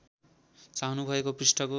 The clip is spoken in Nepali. चाहनु भएको पृष्ठको